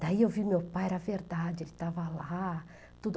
Daí eu vi meu pai, era verdade, ele estava lá, tudo